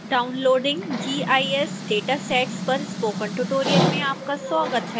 downloading gis datasets पर spoken tutorial में आपका स्वागत है